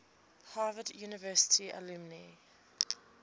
harvard university alumni